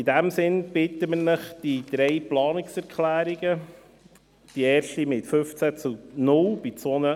In diesem Sinne bitten wir Sie, die drei Planungserklärungen nicht als «erledigt» zu einzustufen.